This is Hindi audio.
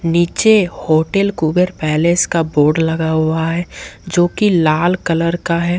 नीचे होटल कुबेर पैलेस का बोर्ड लगा हुआ है जो की लाल कलर का है।